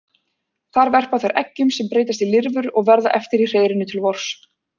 Þar verpa þær eggjum sem breytast í lirfur og verða eftir í hreiðrinu til vors.